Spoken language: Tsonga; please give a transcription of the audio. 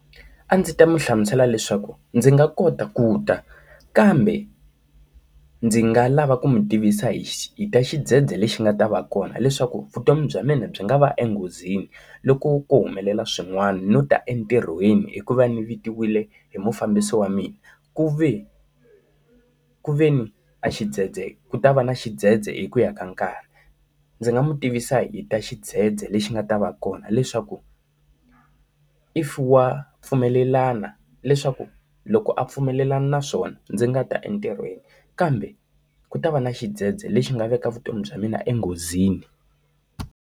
A ndzi ta n'wi hlamusela leswaku ndzi nga kota ku ta kambe, ndzi nga lava ku mi tivisa hi xi hi ta xidzedze lexi nga ta va kona leswaku vutomi bya mina byi nga va enghozini loko ku humelela swin'wana no ta etirhweni hikuva ndzi vitawile hi mufambisi wa mina. Ku ve ku ve ni axidzedze ku ta va na xidzedze hi ku ya ka nkarhi. Ndzi nga n'wi tivisa hi ta xidzedze lexi xi nga ta va kona leswaku if wa pfumelelana leswaku loko a pfumelelana na swona ndzi nga ta entirhweni, kambe ku ta va na xidzedze lexi nga veka vutomi bya mina enghozini.